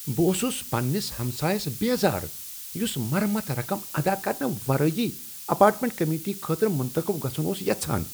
بہٕ اوسس پننس ہمسایس بیزار یس مرمت رقم ادا کرنہٕ ورٲے اپارٹمنٹ کمیٹی خٲطرٕ منتخب گژھن اوس یژھان۔